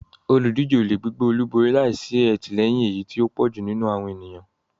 Olùdíje ò lè gbégbá olúborí láì sí àtìlẹyìn èyí tí ó pọ̀ jù nínú àwọn ènìyàn.